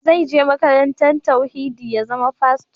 Zai je makarantar tauhidi ya zama fasto